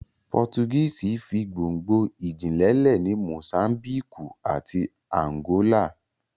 Pọ́tugíìsì fi gbongno ìjìnlẹ̀ lẹ̀ ní Mosámbíkù àti Ànàgólà